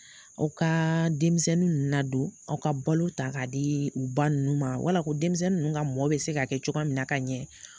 Aw ka denmisɛnnin nadon aw ka balo ta ka di u ba ninnu ma wala ko denmisɛnnin ninnu ka mɔn bɛ se ka kɛ cogoya min na ka ɲɛ.